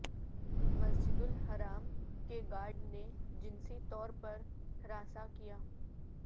مسجد الحرم کے گارڈ نے جنسی طور پر ہراساں کیا